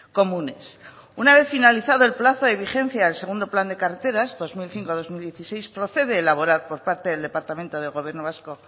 comunes una vez finalizado el plazo de vigencia del segundo plan de carreteras dos mil cinco dos mil dieciséis procede elaborar por parte del departamento del gobierno vasco